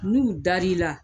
n'u dar'i la.